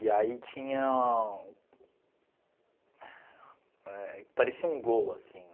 E aí tinha... Parecia um gol, assim, né?